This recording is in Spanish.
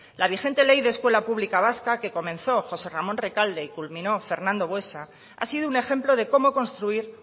la vigente ley de la escuela pública vasca que comenzó josé ramón recalde y culminó fernando buesa ha sido un ejemplo de cómo construir